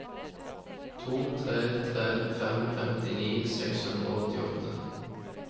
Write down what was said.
to tre tre fem femtini seks hundre og åttiåtte